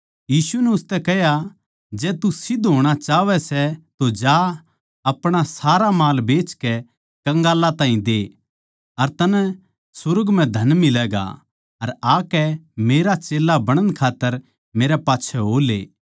यीशु नै उसतै कह्या जै तू सिध्द होणा चाहवै सै तो जा अपणा सारा माळ बेचकै कंगालां ताहीं दे अर तन्नै सुर्ग म्ह धन मिलैगा अर आकै मेरा चेल्ला बणण खात्तर मेरै पाच्छै हो ले